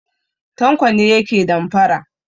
Tanko ne yake damfara.